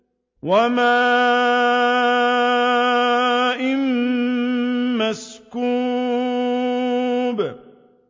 وَمَاءٍ مَّسْكُوبٍ